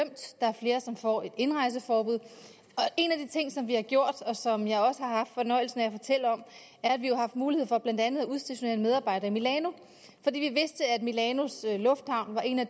er flere som får et indrejseforbud og en af de ting som vi har gjort og som jeg også har haft fornøjelsen af at fortælle om er at vi har haft mulighed for blandt andet at udstationere en medarbejder i milano fordi vi vidste at milanos lufthavn var et af